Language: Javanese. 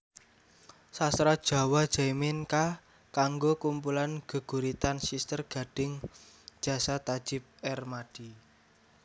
Sastra JawaJaimin K kanggo kumpulan geguritan Siter Gadhing Jasa Tajib Ermadi